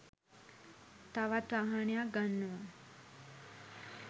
තවත් වාහනයක් ගන්නව